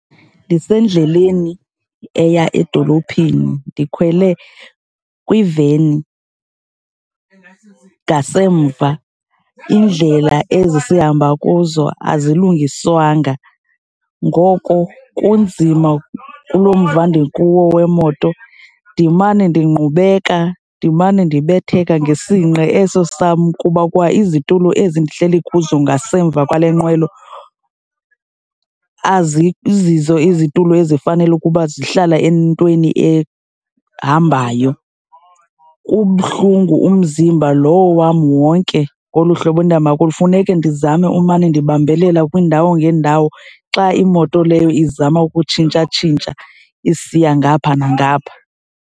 Ndisendleleni eya edolophini, ndikhwele kwiveni ngasemva. Iindlela ezi sihamba kuzo azilungiswanga, ngoko kunzima kulo mva ndikuwo wemoto. Ndimane ndingqubeka, ndimane ndibetheka ngesinqa eso sam, kuba kwa izitulo ezi ndihleli kuzo ngasemva kwale nqwelo azizizo izitulo ezifanele ukuba zihlala entweni ehambayo. Kubuhlungu umzimba lowo wam wonke ngolu hlobo endihamba kulo, funeke ndizame umane ndibambelela kwiindawo ngeendawo xa imoto leyo izama ukutshintshatshintsha isiya ngapha nangapha.